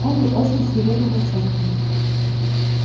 он был очень свирепым волчонком